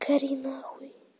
гори нахуй